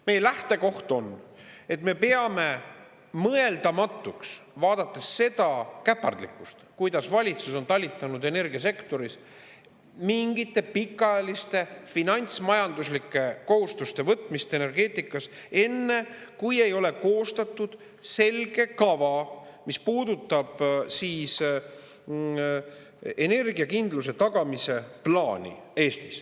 Meie lähtekoht on, et me peame mõeldamatuks, vaadates seda käpardlikkust, kuidas valitsus on talitanud energiasektoris, mingite pikaajaliste finantsmajanduslike kohustuste võtmist energeetikas enne, kui ei ole koostatud selge kava, mis puudutab energiakindluse tagamise plaani Eestis.